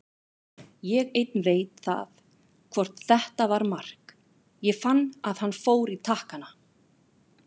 Ég einn veit það hvort þetta var mark, ég fann að hann fór í takkana.